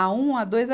A um, A dois, A .